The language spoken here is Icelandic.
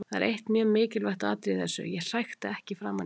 Það er eitt mjög mikilvægt atriði í þessu: Ég hrækti ekki framan í hann.